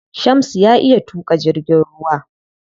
Shamsu ya iya tuƙa jirgin ruwa.